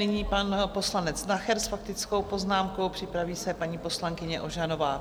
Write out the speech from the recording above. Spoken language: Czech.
Nyní pan poslanec Nacher s faktickou poznámkou, připraví se paní poslankyně Ožanová.